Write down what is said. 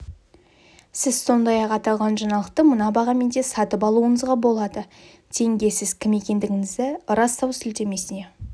сіз сондай-ақ аталған жаңалықты мына бағамен де сатып алуыңызға болады тенге сіз кім екендігіңізді растау сілтемесіне